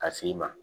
Ka s'i ma